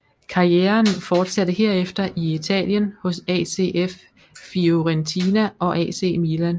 Karrieren fortsatte herefter i Italien hos ACF Fiorentina og AC Milan